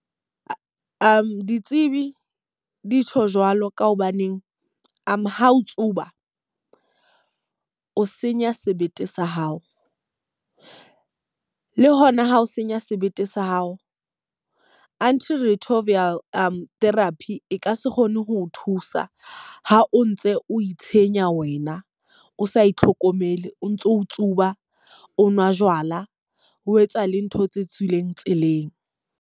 Ditsebi di tjho jwalo ka hobaneng ha o tsuba o senya sebete sa hao. Le hona ho senya sebete sa hao, anti retroviral therapy e ka se kgone ho o thusa ha o ntse o itshenya wena o sa itlhokomele, o ntso o tsuba, o nwa jwala ho etsa le ntho tse tswileng tseleng.